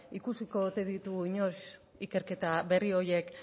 ikusiko ote ditugu inoiz ikerketa berri horiek